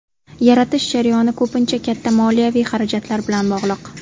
Yaratish jarayoni ko‘pincha katta moliyaviy xarajatlar bilan bog‘liq.